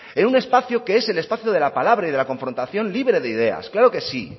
en un espacio que es el espacio de la palabra y de la confrontación libre de ideas claro que sí